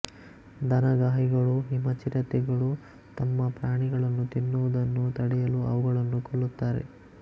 ದನಗಾಹಿಗಳು ಹಿಮ ಚಿರತೆಗಳು ತಮ್ಮ ಪ್ರಾಣಿಗಳನ್ನು ತಿನ್ನುವುದನ್ನು ತಡೆಯಲು ಅವುಗಳನ್ನು ಕೊಲ್ಲುತ್ತಾರೆ